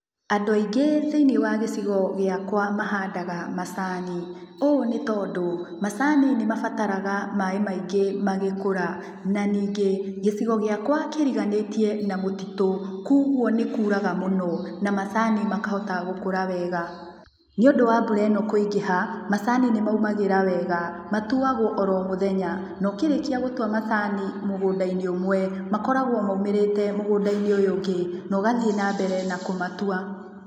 Andũ aingĩ thĩinĩ wa gĩcigo gĩakwa mahandaga macani. Ũũ nĩ tondũ macani nĩ mabataraga maaĩ maingi magĩkũra, na ningĩ, gĩcigo gĩakwa kĩriganĩtie na mũtitũ, kũoguo nĩ kuuraga mũno, na macani makahota gũkũra wega. Nĩũndu wa mbura ĩno kwĩingĩha, macani nĩ maumagĩra wega. Macani matuagwo oro mũthenya, na ukĩrikia gũtua macani mũgũnda-inĩ ũmwe, makoragwo maumĩrĩte mũgũnda-inĩ ũyũ ũngĩ, na ũgathiĩ nambere na kumatua.